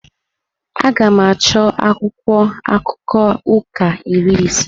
Aga m achọ akwụkwọ akụkọ ụka iri ise.